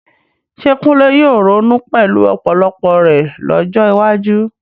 Ṣé Kunle yóò ronú pẹ̀lú ọpọlọ rẹ̀ lọ́jọ́ iwájú?